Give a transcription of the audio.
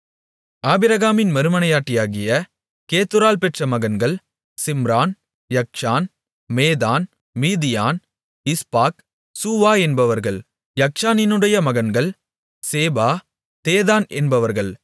ஆபிரகாமின் மறுமனையாட்டியாகிய கேத்தூராள் பெற்ற மகன்கள் சிம்ரான் யக்க்ஷான் மேதான் மீதியான் இஸ்பாக் சூவா என்பவர்கள் யக்க்ஷானினுடைய மகன்கள் சேபா தேதான் என்பவர்கள்